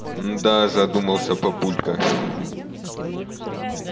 мда задумался папулька